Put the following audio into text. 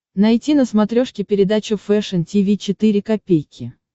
найти на смотрешке передачу фэшн ти ви четыре ка